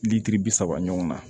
Lilitiri bi saba ɲɔgɔn na